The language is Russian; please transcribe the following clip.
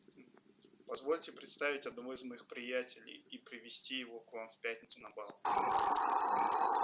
позвольте представить одного из моих приятелей и привезти его к вам в пятницу на бал